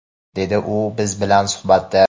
dedi u biz bilan suhbatda.